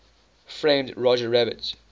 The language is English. framed roger rabbit